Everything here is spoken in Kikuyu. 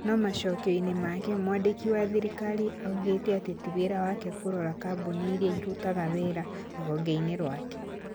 No macokio-inĩ make, mwandĩki wa thirikari oigire atĩ ti wĩra wake kũrora kambũni iria irutaga wĩra rũhonge-inĩ rwake.